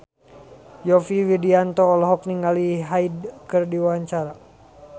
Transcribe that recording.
Yovie Widianto olohok ningali Hyde keur diwawancara